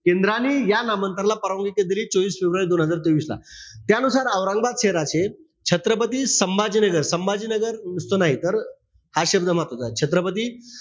केंद्रांनी या नामांतराला परवानगी दिली चोवीस फेब्रुवारी दोन हजार तेवीस ला. त्यानुसार औरंगाबाद शहराचे छत्रपती संभाजीनगर, संभाजीनगर नुसतं नाही तर, हा शब्द महत्वाचंय. छत्रपती,